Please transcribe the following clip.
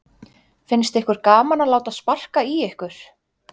Finnst ykkur gaman að láta sparka í ykkur?